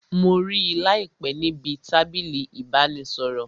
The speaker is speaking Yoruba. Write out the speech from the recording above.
Mo rí láìpé níbi tábìlì ìbánisọ̀rọ̀